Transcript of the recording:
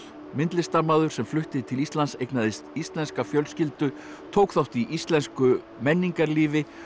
myndlistarmaður sem flutti til Íslands eignaðist íslenska fjölskyldu tók þátt í íslensku menningarlífi